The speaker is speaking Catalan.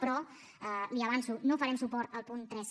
però li ho avanço no farem suport al punt tres